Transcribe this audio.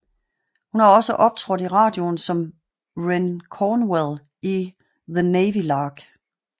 Hun har også optrådt i radioen som Wren Cornwell i The Navy Lark